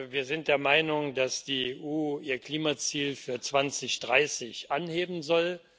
Wir sind der Meinung, dass die EU ihr Klimaziel für 2030 anheben soll.